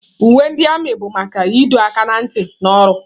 Uwe ndị armiị bụ maka ịdọ aka ná ntị na ọrụ.